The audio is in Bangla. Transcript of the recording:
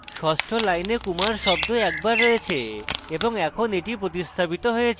ষষ্ঠ line kumar শব্দ একবার রয়েছে এবং এখন এটি প্রতিস্থাপিত হয়েছে